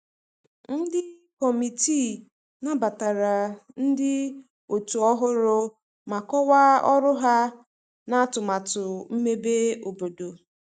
Ndi kọmitịị nabatara ndi otu ohụrụ ma kowaa ọrụ ha na atumatu mmebe obodo